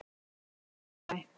Það kemur verulega á óvart